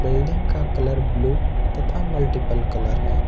Building का colour blue तथा multiple colour है।